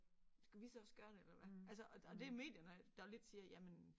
Skal vi så også gøre det eller hvad? Altså og og det er medierne der lidt siger jamen